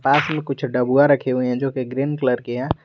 पास में कुछ डबुआ रखे हुए हैं जो कि ग्रीन कलर के है।